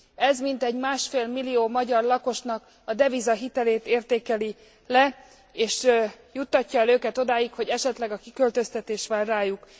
Ez mintegy másfél millió magyar lakosnak a devizahitelét értékeli le és juttatja el őket odáig, hogy esetleg a kiköltöztetés vár rájuk.